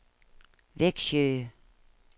Växjö